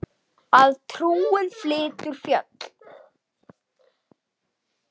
Að trúin flytur fjöll.